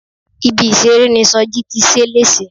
Ibi ìṣeré ni Soji ti ṣe léṣe.